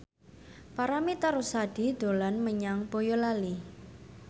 Paramitha Rusady dolan menyang Boyolali